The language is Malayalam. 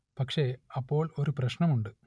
പക്ഷെ അപ്പോൾ ഒരു പ്രശ്നം ഉണ്ട്